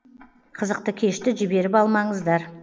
қызықты кешті жіберіп алмаңыздар